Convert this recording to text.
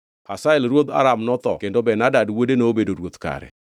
Hazael ruodh Aram notho kendo Ben-Hadad wuode nobedo ruoth kare.